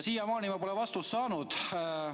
Siiamaani ma pole vastust saanud.